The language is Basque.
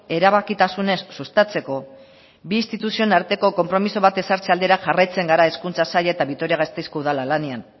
erabakitasunez sustatzeko bi instituzioen arteko konpromiso bat ezartze aldera jarraitzen gara hezkuntza saila eta vitoria gasteizko udala lanean